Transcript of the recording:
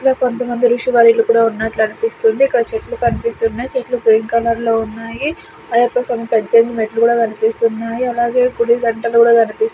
ఈడ కొంతమంది ఋషివర్యులు కూడా ఉన్నట్లు అనిపిస్తుంది ఇక్కడ చెట్లు కనిపిస్తున్నాయ్ చెట్లు గ్రీన్ కలర్ లో ఉన్నాయి అయ్యప్ప స్వామి పద్జెనిమిది మెట్లు కూడా కనిపిస్తున్నాయి అలాగే గుడి గంటలు కూడా కనిపిస్ --